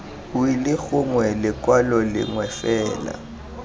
wili gongwe lekwalo lengwe fela